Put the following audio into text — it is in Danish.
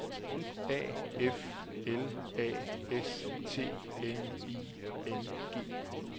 A F L A S T N I N G